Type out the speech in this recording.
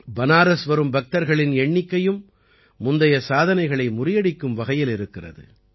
பனாரஸ் வரும் பக்தர்களின் எண்ணிக்கையும் முந்தைய சாதனைகளை முறியடிக்கும் வகையில் இருக்கிறது